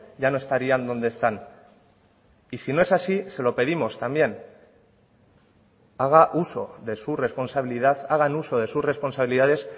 ya no estarían dónde están y si no es así se lo pedimos también haga uso de su responsabilidad hagan uso de sus responsabilidades